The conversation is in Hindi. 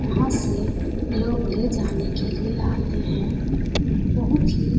यहाँ से लोग ले जाने के लिए आते है बहुत ही --